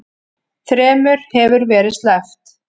Þremur hefur verið sleppt